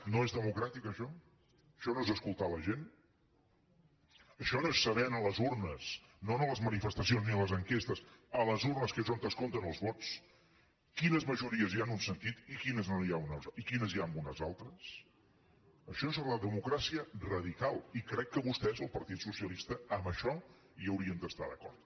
no és democràtic això això no és escoltar la gent això no és saber en les urnes no en les manifestacions ni a les enquestes a les urnes que és on es compten els vots quines majories hi ha en un sentit i quines hi ha en uns altres això és la democràcia radical i crec que vostès el partit socialista en això hi haurien d’estar d’acord